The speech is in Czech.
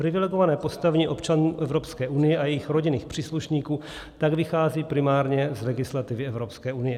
Privilegované postavení občanů Evropské unie a jejich rodinných příslušníků tak vychází primárně z legislativy Evropské unie.